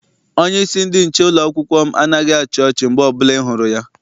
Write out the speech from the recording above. Onyeisi ndị nche ụlọakwụkwọ m anaghị achị ọchi mgbe ọbụla I hụrụ ya.